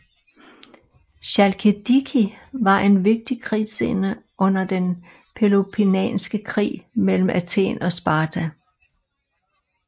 Chalkidiki var en vigtig krigsscene under den peloponnesiske krig mellem Athen og Sparta